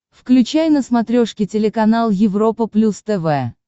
включай на смотрешке телеканал европа плюс тв